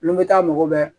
Olu bɛ taa mago bɛɛ